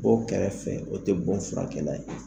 Bɔ o kɛrɛfɛ, o tɛ bɔ furakɛla ye.